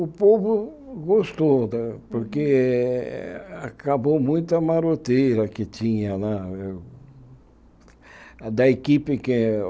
O povo gostou né, porque acabou muita maroteira que tinha. Na da equipe que